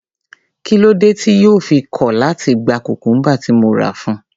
Kí ló dé tí yóò fi kọ̀ láti gba cucumber tí mo rà fún un?